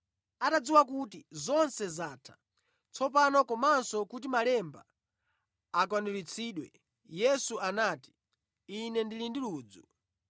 Atadziwa kuti zonse zatha tsopano komanso kuti malemba akwaniritsidwe, Yesu anati, “Ine ndili ndi ludzu.”